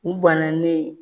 U bananen